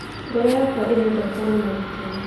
Ngoro yakwa irenda ũkorũo na gĩkeno